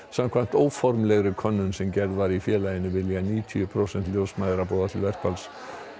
samkvæmt óformlegri könnun sem gerð var í félaginu vilja níutíu prósent ljósmæðra boða til verkfalls